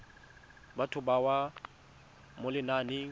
batho ba bewa mo lenaneng